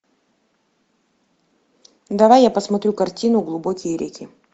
давай я посмотрю картину глубокие реки